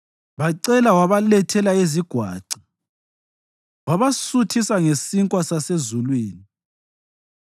Bacela wabalethela izagwaca, wabasuthisa ngesinkwa sasezulwini.